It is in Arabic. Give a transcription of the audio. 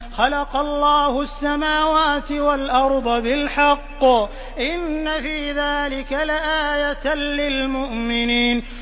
خَلَقَ اللَّهُ السَّمَاوَاتِ وَالْأَرْضَ بِالْحَقِّ ۚ إِنَّ فِي ذَٰلِكَ لَآيَةً لِّلْمُؤْمِنِينَ